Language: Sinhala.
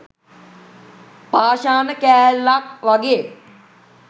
පාෂාණ කෑල්ලක් වගේ